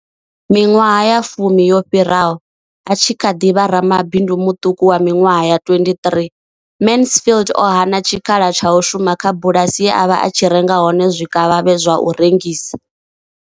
Miṅwaha ya fumi yo fhiraho, a tshi kha ḓi vha ramabindu muṱuku wa miṅwaha ya 23, Mansfield o hana tshikhala tsha u shuma kha bulasi ye a vha a tshi renga hone zwikavhavhe zwa u rengisa.